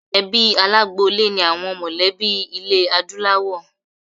Ẹbí alágboolé ni àwọn mọlẹ̀bí ilé Adúláwọ̀.